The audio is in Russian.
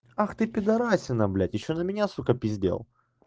ах ты пидорасина блять ещё за меня пиздел